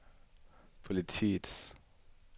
politiets